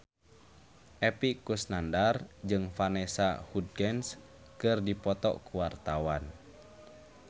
Epy Kusnandar jeung Vanessa Hudgens keur dipoto ku wartawan